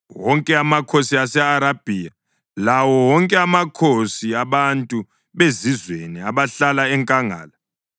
wonke amakhosi ase-Arabhiya lawo wonke amakhosi abantu bezizweni abahlala enkangala;